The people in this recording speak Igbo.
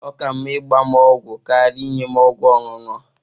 Ọ ka mma ịgba m ọgwụ karịa inye m ọgwụ ọṅụṅụ.